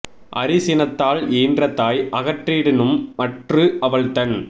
அரி சினத்தால் ஈன்ற தாய் அகற்றிடினும் மற்று அவள்தன்